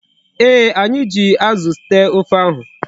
Ee, anyi ji Azu tee ofe ahu